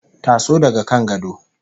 Taso daga kan gado